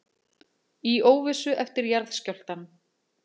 Í óvissu eftir jarðskjálftann